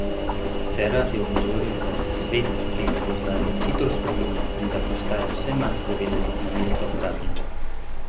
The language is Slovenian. Cerar je opozoril, da se svet, ki ga poznamo, hitro spreminja, in da postaja vse manj povezan, namesto obratno.